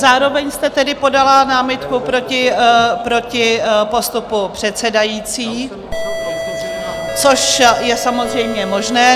Zároveň jste tedy podala námitku proti postupu předsedající, což je samozřejmě možné.